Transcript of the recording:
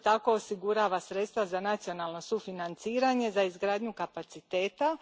Isto tako osigurava sredstva za nacionalno sufinanciranje, za izgradnju kapaciteta.